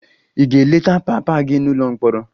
Ị ga-eleta papa gị n'ụlọ mkpọrọ?